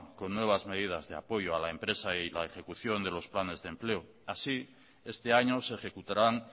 con nuevas medidas de apoyo a la empresa y a la ejecución de los planes de empleo así este año se ejecutarán